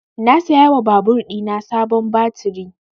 Na saya wa babur ɗina sabon baturi